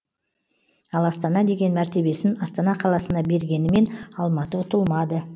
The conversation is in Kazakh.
ал астана деген мәртебесін астана қаласына бергенімен алматы ұтылмады